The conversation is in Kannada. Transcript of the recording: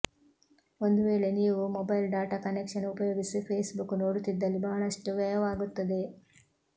ಒಂದು ವೇಳೆ ನೀವು ಮೊಬೈಲ್ ಡಾಟಾ ಕನೆಕ್ಷನ್ ಉಪಯೋಗಿಸಿ ಫೇಸ್ಬುಕ್ ನೋಡುತ್ತಿದ್ದಲ್ಲಿ ಬಹಳಷ್ಟು ವ್ಯಯವಾಗುತ್ತದೆ